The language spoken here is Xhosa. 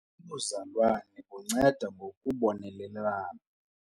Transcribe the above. Ubuzalwane bunceda ngokubonelelana.